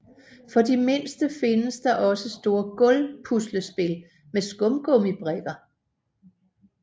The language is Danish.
For de mindste findes der også store gulv puslespil med skumgummibrikker